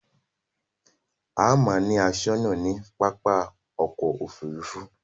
A máa ń ni aṣónà ní pápá ọkò òfurufú.